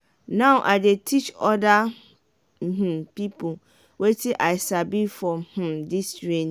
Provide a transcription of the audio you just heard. now i dey teach oda um pipo wetin i sabi for um dis training.